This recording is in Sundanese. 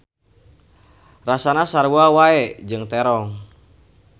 Rasana sarua wae jeung terong.